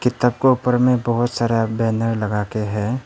किताब का ऊपर में बहुत सारा बैनर लगाके है।